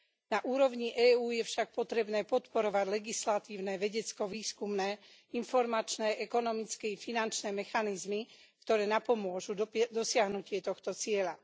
Na úrovni EÚ je však potrebné podporovať legislatívne vedecko výskumné informačné, ekonomické i finančné mechanizmy, ktoré napomôžu dosiahnutie tohto cieľa.